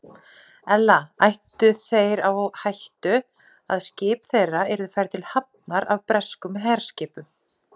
Ella ættu þeir á hættu, að skip þeirra yrðu færð til hafnar af breskum herskipum.